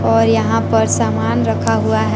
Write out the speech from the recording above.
और यहां पर सामान रखा हुआ है।